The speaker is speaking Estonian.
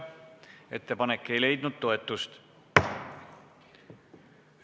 Ettepanek ei leidnud toetust.